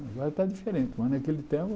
Agora está diferente, mas naquele tempo...